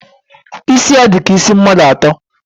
Isi ya di ka isi mmadu ato.